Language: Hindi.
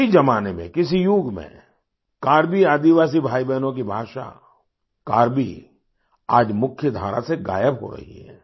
किसी ज़माने में किसी युग में कार्बी आदिवासी भाई बहनों की भाषा कार्बीआज मुख्यधारा से गायब हो रही है